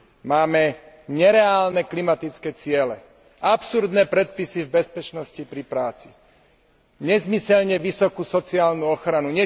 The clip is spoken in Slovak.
Máme nereálne klimatické ciele, absurdné predpisy v bezpečnosti pri práci, nezmyselne vysokú sociálnu ochranu.